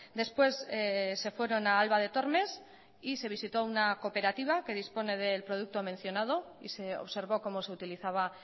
después se fueron a alba de tormes y se visitó una cooperativa que dispone del producto mencionado y se observó cómo se utilizaba